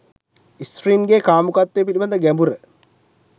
ස්ත්‍රීන්ගේ කාමුකත්වය පිළිබඳ ගැඹුර